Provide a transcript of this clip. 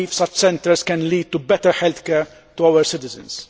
I believe such centres can lead to better healthcare for our citizens.